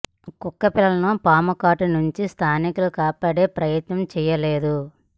కుక్క పిల్లలను పాము కాటు నుంచి స్థానికులు కాపాడే ప్రయత్నం చేయలేదు